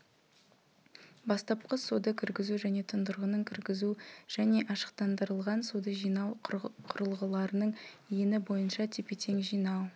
бастапқы суды кіргізу және тұндырғының кіргізу және ашықтандырылған суды жинау құрылғыларының ені бойынша тепе-тең жинау